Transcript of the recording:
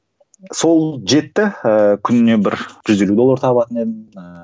сол жетті ііі күніне бір жүз елу доллар табатын едім ііі